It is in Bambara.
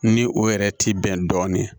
Ni o yɛrɛ ti bɛn dɔɔnin